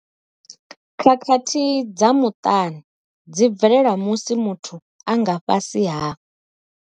Khakhathi dza muṱani dzi bvelela musi muthu a nga fhasi ha.